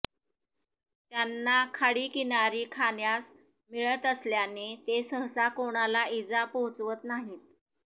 त्यांना खाडीकिनारी खाण्यास मिळत असल्याने ते सहसा कोणाला इजा पोहोचवत नाहीत